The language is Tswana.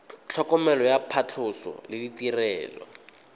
tlhokomelo ya phatlhoso le ditirelo